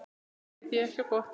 Þetta veit ekki á gott.